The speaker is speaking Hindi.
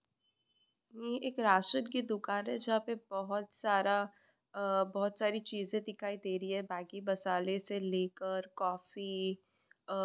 ये एक राशन की दुकान है जहां पे बहुत सारा आ बहुत सारी चीजे दिखाई दे रही है मैगी मासाले से लेकर कॉफ़ी आ--